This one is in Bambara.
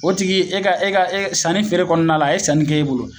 O tigi e ka e ka e sanni feere kɔnɔna la a ye sanni kɛ e bolo